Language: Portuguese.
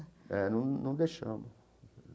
É, não não deixamos.